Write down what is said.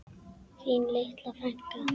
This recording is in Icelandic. Þín litla frænka.